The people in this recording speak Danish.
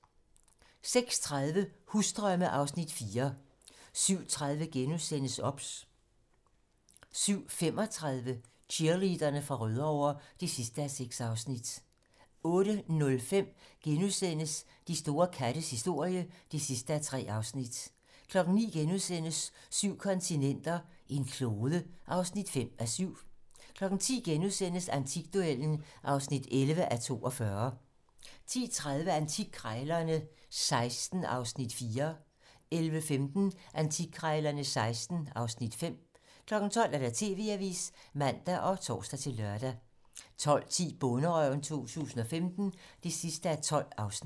06:30: Husdrømme (Afs. 4) 07:30: OBS * 07:35: Cheerleaderne fra Rødovre (6:6) 08:05: De store kattes historie (3:3)* 09:00: Syv kontinenter, en klode (5:7)* 10:00: Antikduellen (11:42)* 10:30: Antikkrejlerne XVI (Afs. 4) 11:15: Antikkrejlerne XVI (Afs. 5) 12:00: TV-Avisen (man og tor-lør) 12:10: Bonderøven 2015 (12:12)